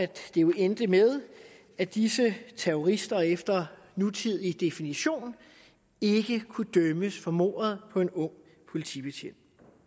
det jo endte med at disse terrorister efter nutidig definition ikke kunne dømmes for mordet på en ung politibetjent